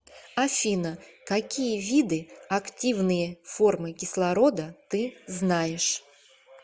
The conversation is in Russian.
афина какие виды активные формы кислорода ты знаешь